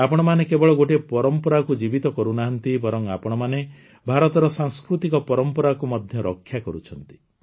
ଆପଣମାନେ କେବଳ ଗୋଟିଏ ପରମ୍ପରାକୁ ଜୀବିତ କରୁନାହାନ୍ତି ବରଂ ଆପଣମାନେ ଭାରତର ସାଂସ୍କୃତିକ ପରମ୍ପରାକୁ ମଧ୍ୟ ରକ୍ଷା କରୁଛନ୍ତି